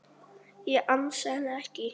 Ég ansa henni ekki.